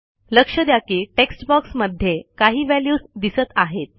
लक्ष द्या की टेक्स्ट बॉक्समध्ये काही व्हॅल्यूज दिसत आहेत